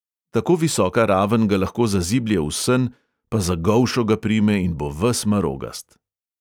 Tako visoka raven ga lahko zaziblje v sen, pa za golšo ga prime in bo ves marogast!